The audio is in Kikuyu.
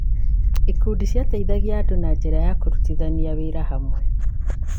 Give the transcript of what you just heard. Ikundi icio ciateithagia andũ na njĩra ya kũrutithania wĩra hamwe.